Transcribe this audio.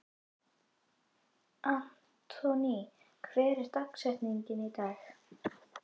Anthony, hver er dagsetningin í dag?